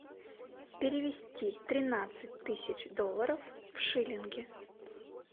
перевести тринадцать тысяч долларов в шиллинги